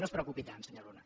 no es preocupi tant senyor luna